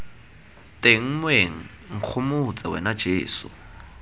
teng moeng nkgomotse wena jeso